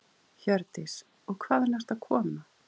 Hjördís: Og hvaðan ertu að koma?